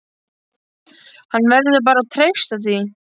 Hann verður bara að treysta því.